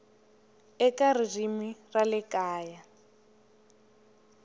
eka ririmi ra le kaya